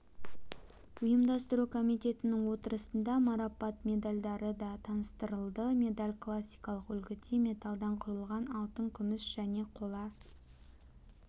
ұйымдастыру комитетінің отырысында мараппат медальдары да таныстырылды медаль классикалық үлгіде металдан құйылған алтын күміс және қола